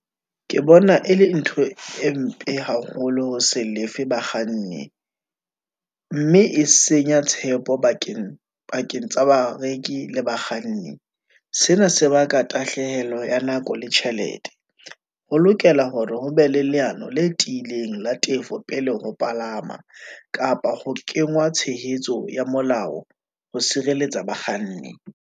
Ke bona e le ntho e mpe haholo ho se lefe bakganni, mme e senya tshepo pakeng tsa bareki le bakganni. sena se baka tahlehelo ya nako le tjhelete. Ho lokela hore ho be le leano le tiileng, la tefo pele ho palama, kapa ho kengwa tshehetso ya molao ho sireletsa bakganni.